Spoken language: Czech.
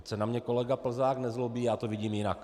Ať se na mě kolega Plzák nezlobí, já to vidím jinak.